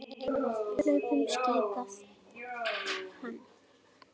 Hlaupum skipaði hann.